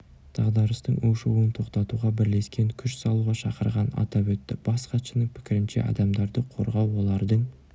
дағдарыстың ушығуын тоқтатуға бірлескен күш салуға шақырғанын атап өтті бас хатшының пікірінше адамдарды қорғау олардың